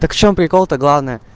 так в чем прикол то главное